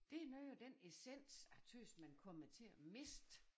Det noget af den essens jeg tøs man kommer til at miste